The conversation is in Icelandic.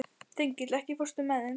Þengill, ekki fórstu með þeim?